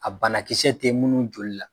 A banakisɛ tɛ munnuw joli la.